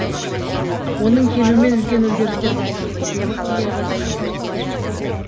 оның келуімен үлкен өзгерістер басталды хирургияға деген көзқарас өзгерді